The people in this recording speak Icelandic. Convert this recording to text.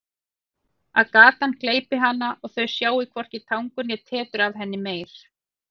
Að gatan gleypi hana og þau sjái hvorki tangur né tetur af henni meir.